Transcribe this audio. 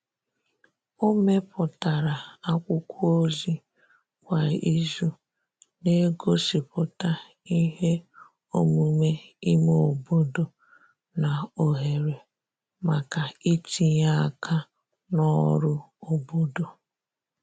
o meputara akwụkwo ozi kwa izu n'egosiputa ihe omume ime obodo na ohere maka itinye aka n'ọrụ obodo